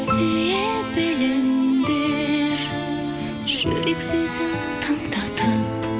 сүйе біліңдер жүрек сезім тыңдатып